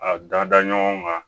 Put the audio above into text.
A dada ɲɔgɔn ka